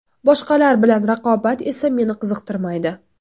Boshqalar bilan raqobat esa meni qiziqtirmaydi.